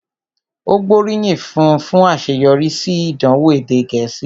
Ó gbóríyìn fún un fún àṣeyọrí sí ìdánwò èdè Gẹ̀ẹ́sì